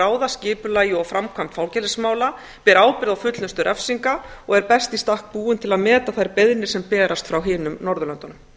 ráða skipulagi og framkvæmd fangelsismála ber ábyrgð á fullnustu refsinga og er best í stakk búin til að meta þær beiðnir sem berast frá hinum norðurlöndunum